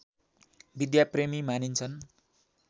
विद्याप्रेमी मानिन्छन्